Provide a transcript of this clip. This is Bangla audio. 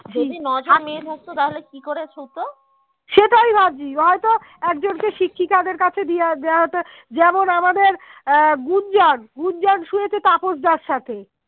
আহ গুঞ্জন গুঞ্জন শুয়েছে তাপসদার সাথে